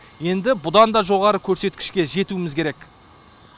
енді бұдан да жоғары көрсеткішке жетуіміз керек